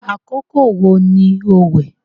àkọkọ wo ni o wẹ̀?